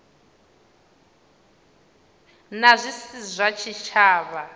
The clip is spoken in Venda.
na zwi si zwa tshitshavha